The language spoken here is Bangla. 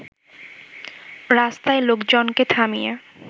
রাস্তায় লোকজনকে থামিয়ে